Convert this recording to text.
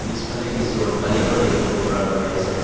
পিছফালে কিছু অট্টালিকাও দেখিব পৰা গৈ আছে।